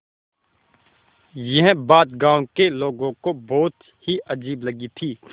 यह बात गाँव के लोगों को बहुत ही अजीब लगी थी